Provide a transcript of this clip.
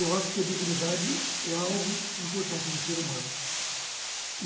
Eu acho que a dignidade é algo importante no ser humano.